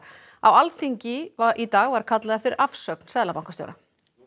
á Alþingi í dag var kallað eftir afsögn seðlabankastjóra